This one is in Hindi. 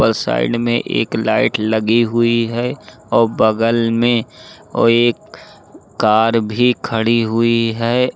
और साइड में एक लाइट लगी हुई है और बगल में और एक कार भी खड़ी हुई है।